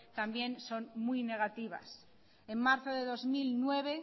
también son muy negativas en marzo de dos mil nueve